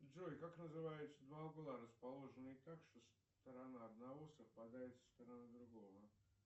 джой как называются два угла расположенные так что сторона одного совпадает со стороной другого